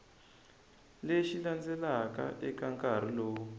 lexi landzelaka eka nkarhi lowu